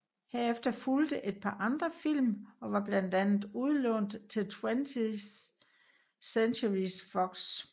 Herefter fulgte et par andre film og var blandt andet lånt ud til 20th Century Fox